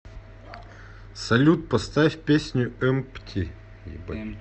салют поставь песню эмпти